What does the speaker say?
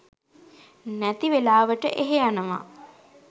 නැති වෙලාවට එහෙ යනවා